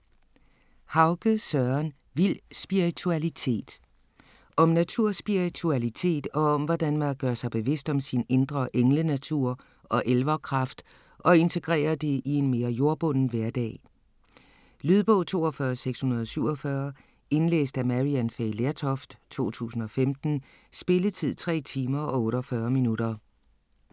Hauge, Søren: Vild spiritualitet Om naturspiritualitet og hvordan man gør sig bevidst om sin indre englenatur og elverkraft og integrerer det i en mere jordbunden hverdag. Lydbog 42647 Indlæst af Maryann Fay Lertoft, 2015. Spilletid: 3 timer, 48 minutter.